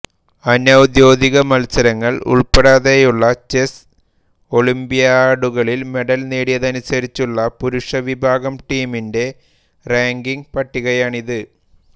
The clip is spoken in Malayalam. അനൌദ്യോഗികമത്സരങ്ങൾ ഉൾപ്പെടുത്താതെയുള്ള ചെസ്സ് ഒളിമ്പ്യാഡുകളിൽ മെഡൽ നേടിയതനുസരിച്ചുള്ള പുരുഷവിഭാഗം ടീമിന്റെ റാങ്കിങ്ങ് പട്ടികയാണിത്